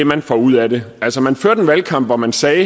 man får ud af det altså man førte en valgkamp hvor man sagde at